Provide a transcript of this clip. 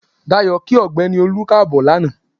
Dayọ̀ kí ọ̀gbẹ́ni Olú Káàbọ̀ lanaa.